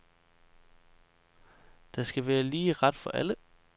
Der skal være lige ret for alle.